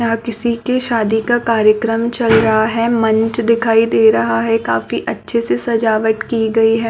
यहाँ किसी के शादी का कार्यक्रम चल रहा है मंच दिखाई दे रहा है काफी अच्छे से सजावट की गई है ।